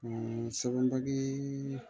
sɛbɛn bali